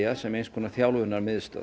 sem eins konar